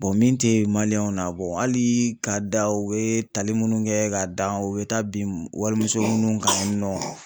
min te w na hali k'a da u yee tali munnu kɛ k'a dan u bɛ taa bin walimuso munnu kan yen nɔ